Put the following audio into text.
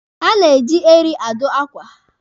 A na-eji eri adụ akwa.